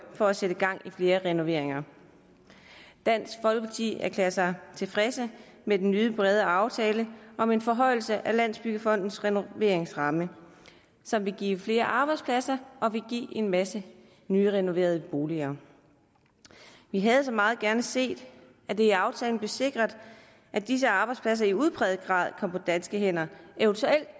for at sætte gang i flere renoveringer dansk folkeparti erklærer sig tilfredse med den nye brede aftale om en forhøjelse af landsbyggefondens renoveringsramme som vil give flere arbejdspladser og vil give en masse nyrenoverede boliger vi havde så meget gerne set at det i aftalen blev sikret at disse arbejdspladser i udpræget grad kom på danske hænder eventuelt